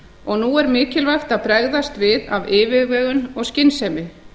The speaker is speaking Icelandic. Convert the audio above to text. og nú er mikilvægt að bregðast við af yfirvegun og skynsemi